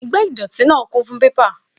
Igbá ìdọ̀tí náà kún fún pépà